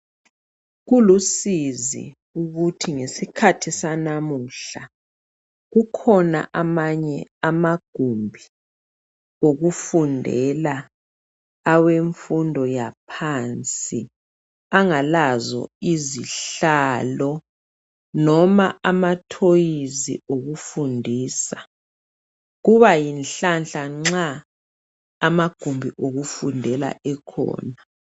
Kulusizi ukuthi ngesikhathi sanamuhla kukhona amanye amagumbi okufundela awemfundo yaphansi, angalazo izihlalo, noma amatoys okufundisa. Kuba yinhlanhla, noma amagumbi okufundela ekhona.